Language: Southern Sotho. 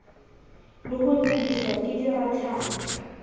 le ho nyediswa ke dirathana